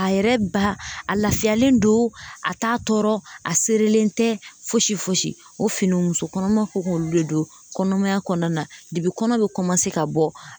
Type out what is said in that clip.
A yɛrɛ ba a lafiyalen don a t'a tɔɔrɔ a serelen tɛ fosi fosi o fini muso kɔnɔma ko k'olu de don kɔnɔmaya kɔnɔna na kɔnɔ bɛ ka bɔ